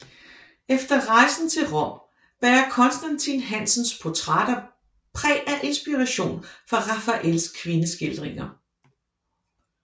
Efter rejsen til Rom bærer Constantin Hansens portrætter præg af inspiration fra Rafaels kvindeskildringer